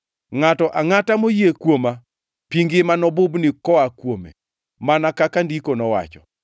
Ngʼato angʼata moyie kuoma pi ngima nobubni koa kuome, mana kaka Ndiko owacho.”